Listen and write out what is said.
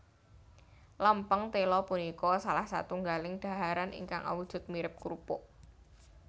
Lèmpèng téla punika salah satunggaling daharan ingkang awujud mirip krupuk